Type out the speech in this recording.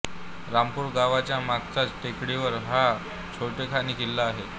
रामपूर गावाच्या मागच्याच टेकडीवर हा छोटेखानी किल्ला आहे